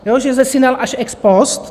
Že zesinal až ex post.